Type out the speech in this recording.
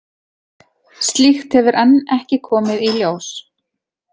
Slíkt hefur enn ekki komið í ljós.